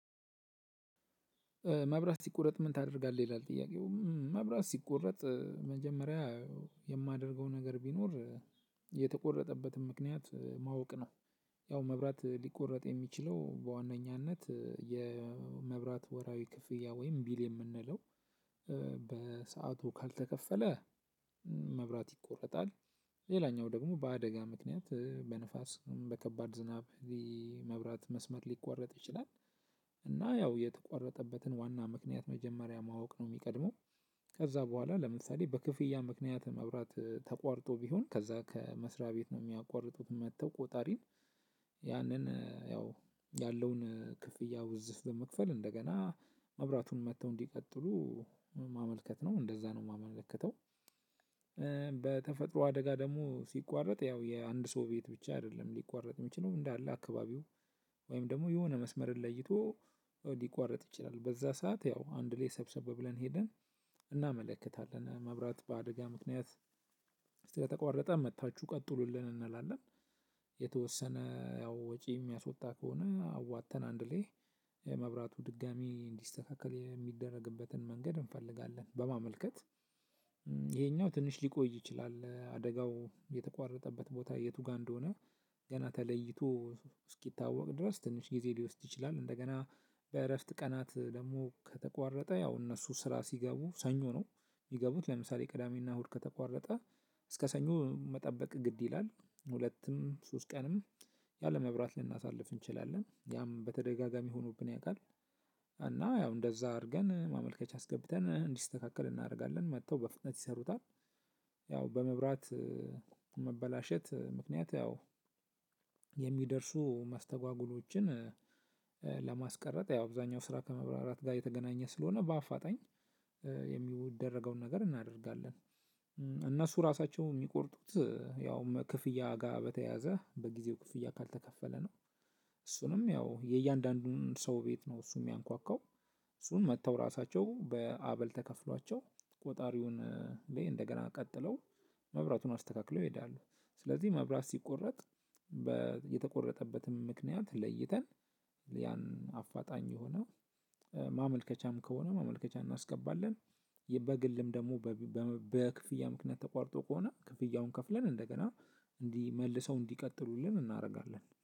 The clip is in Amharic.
መብራት ሲቆረጥ ምን ታደርጋለህ? ይላል ጥያቄው መብራት ሲቆረጥ መጀመሪያ ነገር ቢኖር የተቆረጠበትን ምክንያት ማወቅ ነው። ያው መብራት ሊቆረጥ የሚችለው በዋነኛነት የመብራት ወራዊ ክፍያ ወይም ቢል የምንለው በሰአቱ ካልተከፈለ መብራት ይቆረጣል። ሌላኛው ደግሞ በአደጋ ምክንያት በንፋስ በከባድ ዝናብ መብራት መስመር ሊቆረጥ ይችላል። እና ያው የተቋረጠበትን ዋና ምክንያት መጀመሪያ ማወቅ ነው የሚቀድመው። ከዛ በኋላ ለምሳሌ በክፍያ ምክንያት መብራት ተቋርጦ ቢሆን ከዛ ከመስሪያ ቤት ነው የሚያቋርጡት መጥተው ቆጣሪን ያንን ያው ያለውን ክፍያ ውዝፍ በመክፈል እንደገና ማብራቱን መጥተው እንዲቀጥሉ ማመልከት ነው እንደዛ ነው የማመለከተው። በተፈጥሮ አደጋ ደግሞ ሲቋረጥ ያው የአንድ ሰው ቤት ብቻ አይደለም ሊቋረጥ የሚችለው እንዳለ አካባቢው ወይም ደግሞ የሆነ መስመርን ለይቶ ሊቋረጥ ይችላል። በዛ ሰዓት ያው አንድ ላይ ሰብሰብ ብለን ሄደን እናመለክታለን መብራት በአደጋ ምክንያት ስለተቋረጠ መጥታችሁ ቀጥሉልን እንላለን። የተወሰነ ያው ወጪ የሚያስወጣ ከሆነ አዋጥተን አንድ ላይ የመብራቱ ድጋሚ እንዲስተካከል የሚደረግበትን መንገድ እንፈልጋለን። በማመልከት ይሄኛው ትንሽ ሊቆይ ይችላል አደጋው የተቋረጠበት ቦታ የቱ ጋር እንደሆነ ገና ተለይቶ እስኪታወቅ ድረስ ትንሽ ጊዜ ሊወስድ ይችላል። እንደገና በእረፍት ቀናት ደግሞ ከተቋረጠ ያው እነሱ ስራ ሲገቡ ሰኞ ነው የሚገቡት ለምሳሌ ቅዳሜና እሁድ ከተቋረጠ እስከ ሰኞ መጠበቅ ግድ ይላል ሁለትም ሶስት ቀንም ያለመብራት ልናሳልፍ እንችላለን ያም በተደጋጋሚ ሆኖብን ያውቃል። እና ያው እንደዛ አድርገን ማመልከቻ አስገብተን እንዲስተካከል እናደርጋለን መጥተው በፍጥነት ይሰሩታል። ያው በመብራት መበላሸት ምክንያት ያው የሚደርሱ ማስተጓጎሎችን ለማስቀረት ያው አብዛኛው ስራ ከመብራራት ጋር የተገናኘ ስለሆነ በአፋጣኝ የሚደረገውን ነገር እናደርጋለን። እነሱ ራሳቸው የሚቆርጥት ያውክፍያ ጋር በተያያዘ በጊዜው ክፍያ ካልተከፈለ ነው። እሱንም ያው የያንዳንዱን ሰው ቤት ነው እሱ የሚያንኳኳው። እሱንም መተው ራሳቸው አበል ተከፍሏቸው ቆጣሪውን እንደገና ቀጥለው መብራቱን አስተካክለው ይሄዳሉ። ስለዚ መብራት ሲቆረጥ የተቆረጠበትን ምክንያት ለይተን ያን አፋጣኝ የሆነ ማመልከቻም ከሆነ ማመልከቻ እናስገባለን በግልም ደግሞ በክፍያ ምክንያት ተቋርጦ ከሆነ ክፍያውን ከፍለን እንደገና እንዲመልሰው እንዲቀጥሉልን እናደርጋለን